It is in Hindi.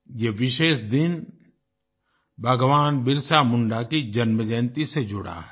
यह विशेष दिन भगवान बिरसा मुंडा की जन्मजयंती से जुड़ा है